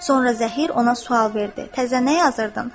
Sonra Zəhir ona sual verdi: "Təzə nə yazırdın?"